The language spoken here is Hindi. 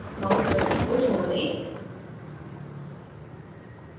mouse button को छोड दें